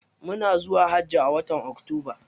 Muna zuwa hajji a watan octoba.